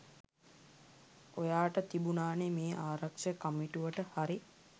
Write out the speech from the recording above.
ඔයාට තිබුණානේ මේ ආරක්‍ෂක කමිටුවට හරි